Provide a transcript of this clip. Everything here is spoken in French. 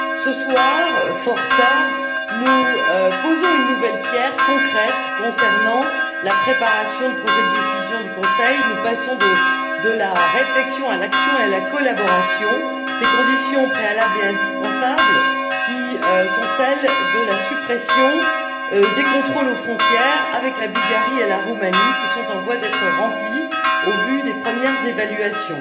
Ce soir, fort tard, nous posons une nouvelle pierre concrète concernant la préparation du projet de décision du Conseil. Nous passons de la réflexion à l'action et à la collaboration, ces conditions préalables et indispensables qui sont celles de la suppression des contrôles aux frontières avec la Bulgarie et la Roumanie et qui sont en voie d'être remplies au vu des premières évaluations.